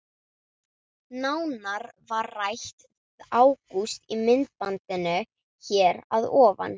Nánar var rætt við Ágúst í myndbandinu hér að ofan.